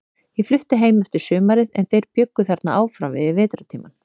Ég flutti heim eftir sumarið, en þeir bjuggu þarna áfram yfir vetrartímann.